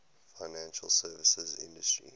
financial services industry